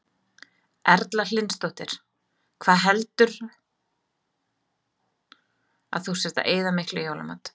Erla Hlynsdóttir: Hvað heldurðu að þú sért að eyða miklu í jólamatinn?